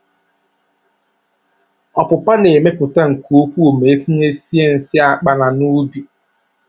Ọpụpa na-emepụta nke ukwuu ma etinyesie nsị akpana n'ubi